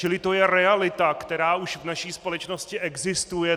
Čili to je realita, která už v naší společnosti existuje.